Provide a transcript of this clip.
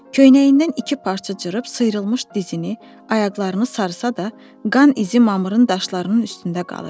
Köhnəyindən iki parça cırıb sıyrılmış dizini, ayaqlarını sarısa da, qan izi mamırın daşlarının üstündə qalırdı.